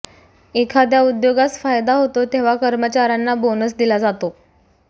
एखाद्या उद्योगास फायदा होतो तेव्हा कर्मचाऱ्यांना बोनस दिला जातो